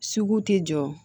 Sugu tɛ jɔ